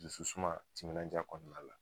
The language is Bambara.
Dusu suma timinaja kɔnɔna la